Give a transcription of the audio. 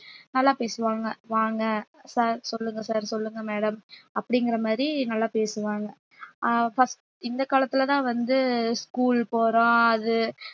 நல்லா பேசுவாங்க வாங்க sir சொல்லுங்க sir சொல்லுங்க madam அப்படிங்கிற மாதிரி நல்லா பேசுவாங்க ஆஹ் first இந்தக் காலத்துலதான் வந்து school போறோம் அது